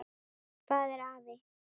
Hvað er afi?